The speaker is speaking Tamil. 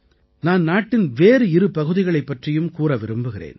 நான் நாட்டின் வேறு இரு பகுதிகளைப் பற்றியும் கூற விரும்புகிறேன்